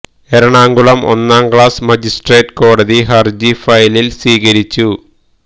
എറണാകുളം ഒന്നാം class magistrate കോടതി ഹര്ജി ഫയലില് സ്വീകരിച്ചു